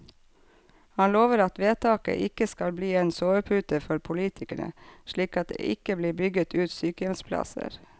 Han lover at vedtaket ikke skal bli en sovepute for politikerne, slik at det ikke blir bygget ut sykehjemsplasser.